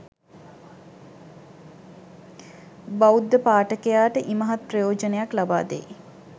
බෞද්ධ පාඨකයාට ඉමහත් ප්‍රයෝජනයක් ලබාදෙයි